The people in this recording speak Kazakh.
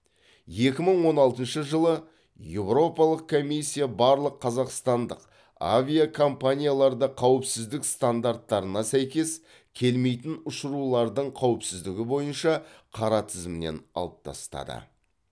екі мың он алтыншы жылы еуропалық комиссия барлық қазақстандық авиакомпанияларды қауіпсіздік стандарттарына сәйкес келмейтін ұшырулардың қауіпсіздігі бойынша қара тізімнен алып тастады